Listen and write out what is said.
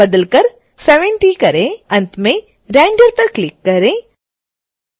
अंत में render पर क्लिक करें